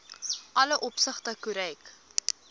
alle opsigte korrek